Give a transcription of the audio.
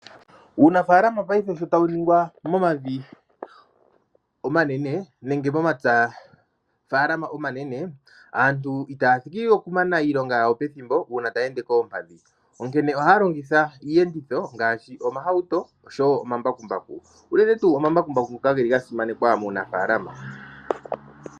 Unafaalama paife sho tawuningwa momavi omanene nenge momapya omanene aantu itaya thiki okumana iilonga yawo pethimbo uuna taya ende koompadhi, onkene ohaya longitha iiyenditho ngaashi, omahauto osho wo omambakumbaku, unene tu omambakumbaku ngoka geli gasimanekwa muunafaalama.